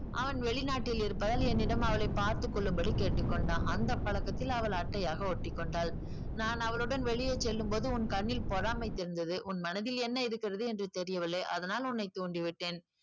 அவன் வெளிநாட்டில் இருப்பதால் என்னிடம் அவளை பார்த்துக் கொள்ளும்படி கேட்டுக்கொண்டான் அந்த பழக்கத்தில் அவள் அட்டையாக ஒட்டிக்கொண்டாள் நான் அவளுடன் வெளியே செல்லும்போது உன் கண்ணில் பொறாமை தெரிந்தது உன் மனதில் என்ன இருக்கிறது என்று தெரியவில்லை அதனால் உன்னை தூண்டி விட்டேன்